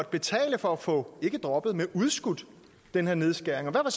betale for at få ikke droppet men udskudt den her nedskæring og